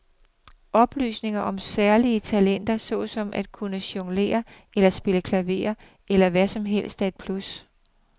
Oplysninger om særlige talenter såsom at kunne jonglere eller spille klaver eller hvad som helst er et plus.